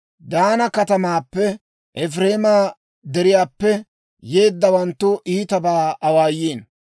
Daana katamaappenne Efireema Deriyaappe yeeddawanttu iitabaa awaayiino.